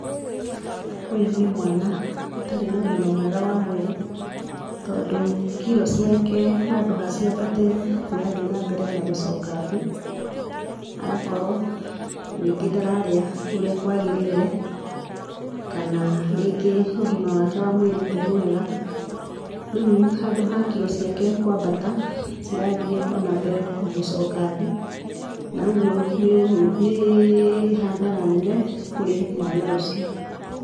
Ũyũ nĩ mwana ũtarĩ na ũgima mwega wa mwĩrĩ, tondũ kiro ciake handũ ha ciambatĩre irathiĩ nambere na gũcoka thĩĩ. Agakrwo rĩngĩ ndararĩa ũrĩa kwagĩrĩire kana rĩngĩ ũgima wake wa mwĩrĩ ti mwega, rĩu handũ ha kiro ciake kwambata cirathiĩ onambere na gũcoka thĩ na ũguo nĩ hathara nene kũrĩ mwana ũcio.